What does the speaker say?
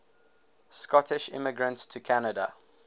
scottish immigrants to canada